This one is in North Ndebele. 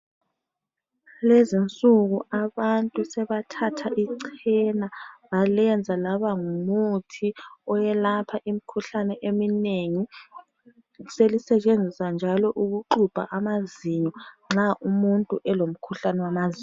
Kulezinsuku abantu sebathatha ichena balenza labangumuthi owelapha imikhuhlane eminengi. Selisetshenziswa njalo ukuxubha amazinyo nxa umuntu elomkhuhlane wamazinyo.